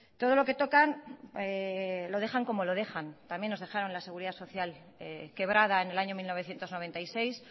todo lo que tocan lo dejan como lo dejan también nos dejaron la seguridad social quebrada en el año mil novecientos noventa y seis